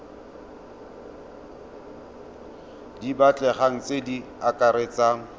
di batlegang tse di akaretsang